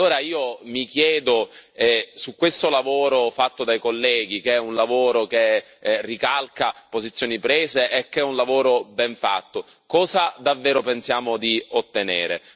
Allora io mi chiedo, su questo lavoro fatto dai colleghi, che è un lavoro che ricalca posizioni prese e che è un lavoro ben fatto, cosa davvero pensiamo di ottenere?